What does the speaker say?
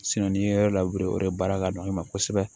n'i ye yɔrɔ labure o de baara ka nɔgɔn i ma kosɛbɛ